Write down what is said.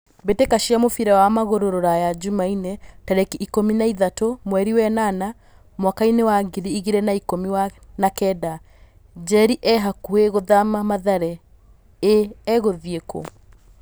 Mbĩtĩka cia mũbira wa magũrũ Ruraya Jumaine tarĩki ikũmi na ithatũ mweri wenana mwakainĩ wa ngiri igĩrĩ na ikũmi na kenda. 'Njeri e hakuhĩ gũthama Mathare' ĩ egũthiĩ kũ?